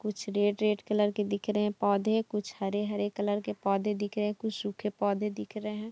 कुछ red red colour के दिख रहे है पोधे कुछ हरे-हरे कलर के पौधे दिख रहे है कुछ सूखे पोधे दिख रहे हैं।